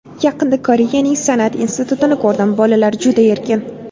Yaqinda Koreyaning san’at institutini ko‘rdim, bolalar juda erkin.